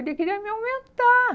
Ele queria me aumentar.